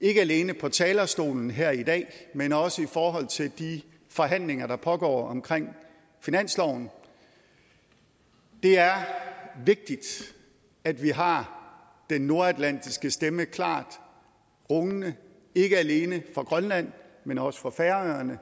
ikke alene på talerstolen her i dag men også i forhold til de forhandlinger der pågår omkring finansloven det er vigtigt at vi har den nordatlantiske stemme klart rungende ikke alene fra grønland men også fra færøerne